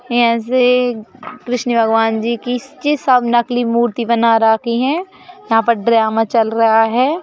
यहाँ से कृष्ण भगवान जी की य सब नकली मूर्ति बना रखी हैं यहां पर ड्रामा चल रहा है।